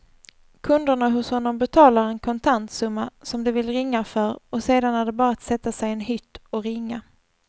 Kunderna hos honom betalar en kontantsumma som de vill ringa för och sedan är det bara att sätta sig i en hytt och ringa.